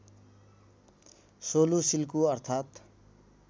सोलु सिल्कु अर्थात्